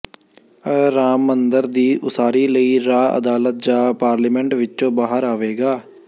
ਅ ਰਾਮ ਮੰਦਰ ਦੀ ਉਸਾਰੀ ਲਈ ਰਾਹ ਅਦਾਲਤ ਜਾਂ ਪਾਰਲੀਮੈਂਟ ਵਿੱਚੋਂ ਬਾਹਰ ਆਵੇਗਾ